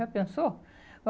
Já pensou?